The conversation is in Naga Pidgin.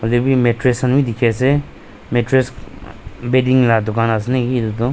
Devi mattress khan bi dekhi ase mattress bedding la dukan ase naki etutho.